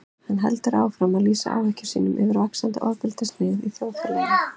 Hann heldur áfram að lýsa áhyggjum sínum yfir vaxandi ofbeldishneigð í þjóðfélaginu.